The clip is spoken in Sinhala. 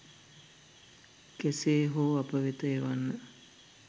කෙසේ හෝ අප වෙත එවන්න.